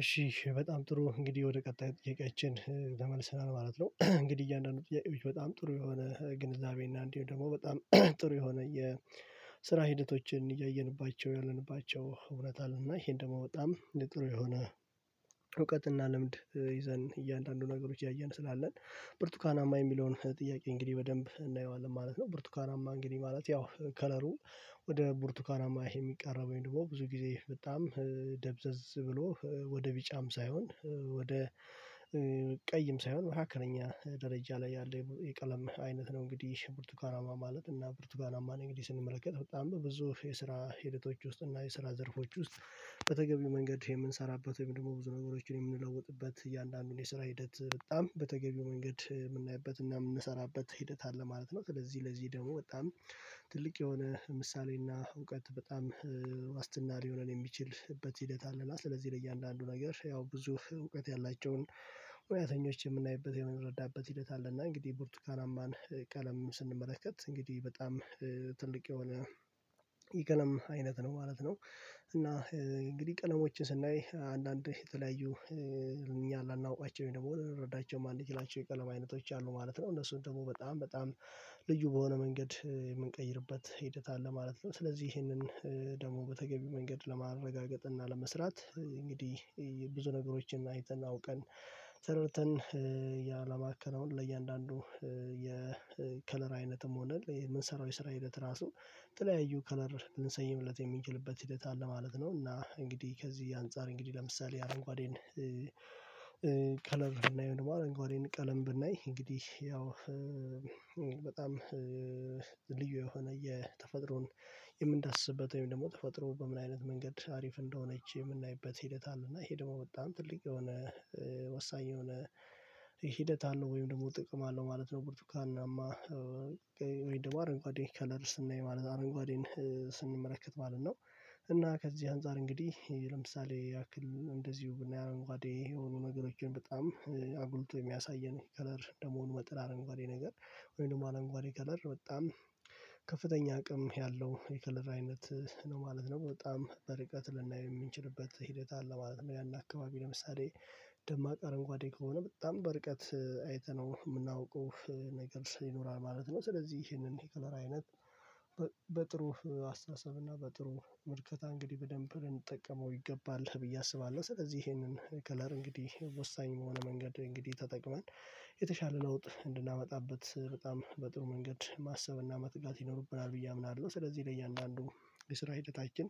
እሺ በጣም ጥሩ እንግዲህ ወደ ቀጣይ ጥያቄያችን ተመልሰናል ማለት ነው። እንግዲህ እያንዳንዱ ጥያቄዎች በጣም ጥሩ የሆነ ግንዛቤ እና እንዲሁ ደግሞ በጣም ጥሩ የሆነ የስራ ሂደቶችን ያየንባቸው ያለንባቸው እውነት አለና ይሄን ደግሞ በጣም እነደ ጥሩ የሆነ እውቀትና ልምድ ይዘን እያንዳንዱ ነገሮች ያየን ስላለን ብርቱካናማ የሚለውን ጥያቄ እንግዲህ በደንብ እናየዋለን ማለት ነው። ብርቱካናማ እንግዲህ ማለት ያው ከለሩ ወደ ቡርቱካናማ የሚቃረብ ደግሞ ብዙ ጊዜ በጣም ደብዘዝ ብሎ ወደ ቢጫም ሳይሆን ወደ ቀይም ሳይሆን መካከለኛ ደረጃ ላይ ያለ የቀለም አይነት ነው። እንግዲህ ብርቱካናማ ማለት እና ብርቱካናማ እንግዲህ ስንመለከት በጣም ብዙ የስራ ሂደቶች ውስጥ እና የስራ ዘርፎች ውስጥ በተገቢው መንገድ የምንሰራበት ወይም ደግሞ ብዙ ነገሮችን የምንለውጥበት እያንዳንዱን የስራ ሂደት በጣም በተገቢው መንገድ የምናይበት እና የምንሰራበት ሂደት አለ ማለት ነው። ስለዚህ ለዚህ ደግሞ በጣም ትልቅ የሆነ ምሳሌና እውቀት በጣም ዋስትና ሊሆነን የሚችልበት ሂደት አለ ስለዚህ ለእያንዳንዱ ነገር ያው ብዙ እውቀት ያላቸውን ሙያተኞች የምናይበት የምንረዳበት ሂደት አለና እንግዲህ ቦርቱካናማን ቀለም ስንመለከት እንግዲህ በጣም ትልቅ የሆነ የቀለም አይነት ነው ማለት ነው። እና እንግዲህ ቀለሞችን ስናይ አንዳንዴ የተለያዩ እኛ ላናውቃቸው ደግሞ ልረዳቸው የማንችላቸው ቀለማ አይነቶች አሉ ማለት ነው እነሱን ደግሞ በጣም በጣም ልዩ በሆነ መንገድ የምንቀይርበት ሂደት አለ ማለት ነው። ስለዚህ ይሄንን ደግሞ በተገቢው መንገድ ለማረጋገጥ እና ለመስራት እንግዲህ ብዙ ነገሮችን አይተን አውቀን ተረድተን ያለማከናውን ለእያንዳንዱ የከለር አይነትም ሆነ የምንሰራው የስራ ሂደት ራሱ የተለያዩ ከለር ልንሰይምለት የሚችልበት ሂደት አለ ማለት ነው። እና እንግዲህ ከዚህ የአንጻር እንግዲህ ለምሳሌ አረንጓዴን ከለር ብናይ አረንጓዴን ቀለም ብናይ እንግዲህ በጣም ልዩ የሆነ የተፈጥሮን የምንዳስስበት ወይም ደግሞ ተፈጥሮ በምን አይነት መንገድ አሪፍ እንደሆነች የምናይበት ሂደት አለ እና ይሄ ደግሞ በጣም ትልቅ የሆነ ወሳኝ የሆነ ሂደት አለው ወይም ደግሞ ጥቅም አለው ማለት ነው። ብርቱካናማ ወይም ደግሞ አረንጓዴ ከለር ስናይ ማለት አረንጓዴን ስንመለከት ማለት ነው እና ከዚህ አንፃር እንግዲህ ለምሳሌ ያክል እንደዚሁ ብናያም አንጓዴ የሆኑ ነገሮችን በጣም አጉልቶ የሚያሳየን ከለር እንደመሆኑ መጠን አረንጓዴ ነገር ወይም ደግሞ አረንጓዴ ከለር በጣም ከፍተኛ አቅም ያለው የከለር አይነት ነው ማለት ነው በጣም በርቀት ልናይ የምንችልበት ሂደት አለ ማለት ነው ያን አካባቢ ለምሳሌ ደማቅ አረንጓዴ ከሆነ በጣም በርቀት አይተነው የምናውቀው ነገር ይኖራል ማለት ነው። ስለዚህ ይሄንን የከለር አይነት በጥሩ አስተሳሰብ እና በጥሩ ምልከታ እንግዲህ በደንብ ልንጠቀመው ይገባል ብዬ አስባለሁ። ስለዚህ ይሄንን ከለር እንግዲህ ወሳኝ የሆነ መንገድ እንግዲህ ተጠቅመን የተሻለ ለውጥ እንድናመጣበት በጣም በጥሩ መንገድ ማሰብና መትጋት ይኖርብናል ብዬ አምናለሁ ስለዚህ ለእያንዳንዱ የስራ ህይወታችን